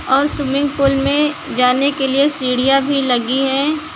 और swimming pool में जाने के लिए सीढ़ियां भी लगी हैं।